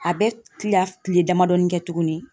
A be kila kile damadɔɔni kɛ tuguni.